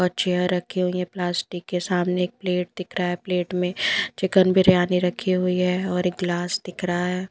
और चेयर रखी हुई है प्लास्टिक के सामने एक प्लेट दिख रहा है प्लेट में चिकन बिरयानी रखी हुई है और एक गिलास दिख रहा है।